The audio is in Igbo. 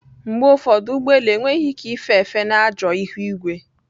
Mgbe ụfọdụ ụgbọ elu enweghị ike ife efe na ajọ ihu igwe